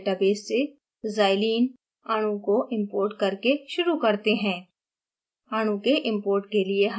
chemical structure database से xylene अणुको importing करके शुरू करते हैं